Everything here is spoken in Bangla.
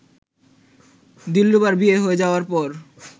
দিলরুবার বিয়ে হয়ে যাওয়ার পর